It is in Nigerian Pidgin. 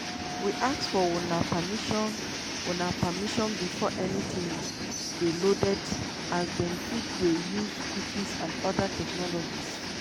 we ask for una permission una permission before anytin dey loaded as dem fit dey use cookies and oda technologies.